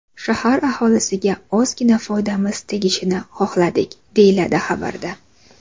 Shahar aholisiga ozgina foydamiz tegishini xohladik”, deyiladi xabarda.